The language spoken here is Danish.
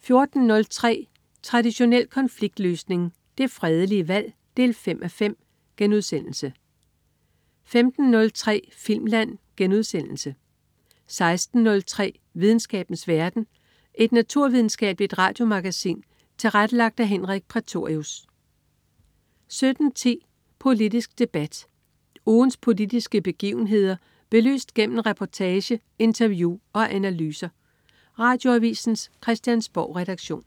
14.03 Traditionel konfliktløsning. Det fredelige valg 5:5* 15.03 Filmland* 16.03 Videnskabens verden. Et naturvidenskabeligt radiomagasin tilrettelagt af Henrik Prætorius 17.10 Politisk debat. Ugens politiske begivenheder belyst gennem reportage, interview og analyser. Radioavisens Christiansborgredaktion